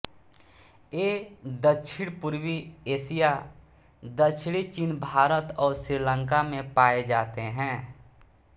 ये दक्षिणपूर्वी एशिया दक्षिणी चीन भारत और श्रीलंका में पाए जाते हैं